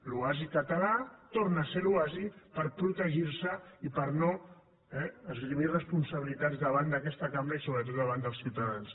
l’oasi català torna ser l’oasi per protegir se i per no eh esgrimir responsabilitats davant d’aquesta cambra i sobretot davant dels ciutadans